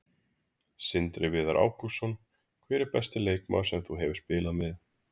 Sindri Viðar Ágústsson Hver er besti leikmaður sem þú hefur spilað með?